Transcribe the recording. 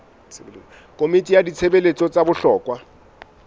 komiting ya ditshebeletso tsa bohlokwa